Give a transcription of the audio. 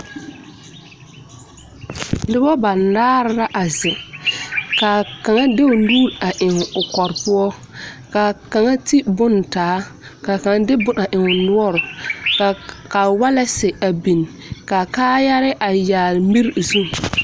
Noba banaare la a zeŋ ka a kaŋa de o nuuri eŋ o kɔrɔ poɔ ka kaŋa ti bonne taa ka a kaŋa de bonne eŋ o noɔre ka ka waalensi biŋ ka kaayarɛɛ a yagle miri zu.